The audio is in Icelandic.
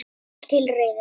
Allt til reiðu.